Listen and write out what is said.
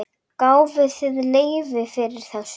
Gáfuð þið leyfi fyrir þessu?